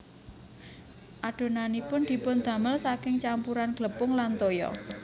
Adonanipun dipundamel saking campuran glepung lan toya